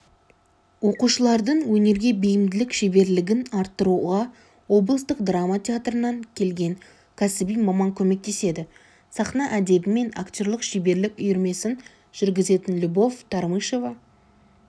оқушылардың өнерге бейімділік шеберлігін арттыруға облыстық драма театрынан келген кәсіби маман көмектеседі сахна әдебі мен актерлік шеберлік үйірмесін жүргізетін любовь тормышева